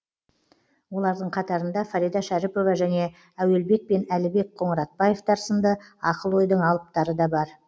олардың қатарында фарида шәріпова және әуелбек пен әлібек қоңыратбаевтар сынды ақыл ойдың алыптары да бар